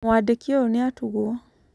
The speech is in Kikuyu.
mwandĩki ũyũ nĩatuguo.